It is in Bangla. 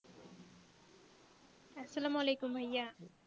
আসসালামু আলাইকুম ভাইয়া